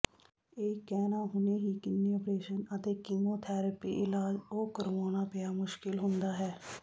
ਇਹ ਕਹਿਣਾ ਹੁਣੇ ਹੀ ਕਿੰਨੇ ਓਪਰੇਸ਼ਨ ਅਤੇ ਕੀਮੋਥੈਰੇਪੀ ਇਲਾਜ ਉਹ ਕਰਵਾਉਣਾ ਪਿਆ ਮੁਸ਼ਕਲ ਹੁੰਦਾ ਹੈ